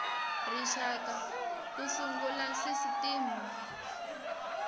rixaka ku sungula sisitimi y